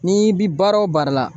N'i bi baara o baara la